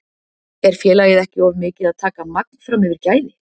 Er félagið ekki of mikið að taka magn fram yfir gæði?